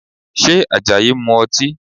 Ṣé Àjàyí ń mu ọtí?